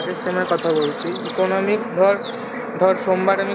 আগের sem এর কথা বলছি economics ধর ধর সোমবার আমি